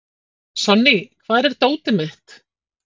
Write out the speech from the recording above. Sonný, hvar er dótið mitt?